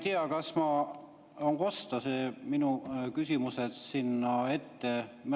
Ma ei tea, kas on kosta minu küsimused sinna ette.